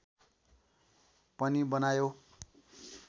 पनि बनायो